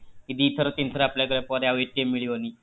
କି ଦି ଥର ତିନି ଥର apply କରିବା ପରେ ଆଉ ମିଳିବନି?